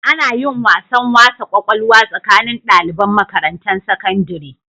Anayin wasan wasa kwakwalwa tsakanin daliban Makarantan sakandiri